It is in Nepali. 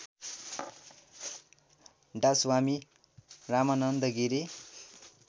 डास्वामी रामानन्द गिरी